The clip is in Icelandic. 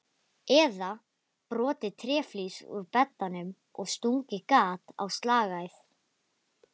Eða brotið tréflís úr beddanum og stungið gat á slagæð?